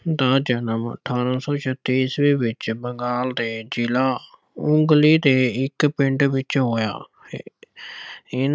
ਦਾ ਜਨਮ ਅਠਾਰਾਂ ਸੌ ਛੱਤੀ ਈਸਵੀ ਵਿੱਚ ਬੰਗਾਲ ਦੇ ਜ਼ਿਲ੍ਹਾ ਹੁਗਲੀ ਦੇ ਇੱਕ ਪਿੰਡ ਵਿੱਚ ਹੋਇਆ।